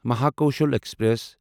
Mahakoshal express